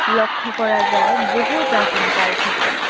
লক্ষ্য করা যায় বহু প্রাচীন কাল থেকেই